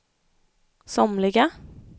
somliga